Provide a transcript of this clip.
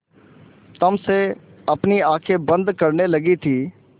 तम से अपनी आँखें बंद करने लगी थी